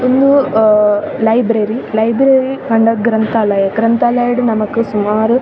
ಉಂದು ಅಹ್ library library ಪಂಡ ಗ್ರಂಥಾಲಯ ಗ್ರಂಥಾಲಯಡ್ ನಮಕ್ ಸುಮಾರ್ --